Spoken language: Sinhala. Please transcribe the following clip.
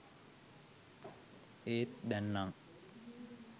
ඒත් දැං නං